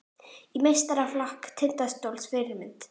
Í meistaraflokk Tindastóls Fyrirmynd?